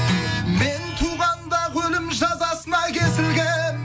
мен туғанда ақ өлім жазасына кесілгенмін